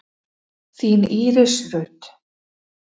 Þín Íris Rut.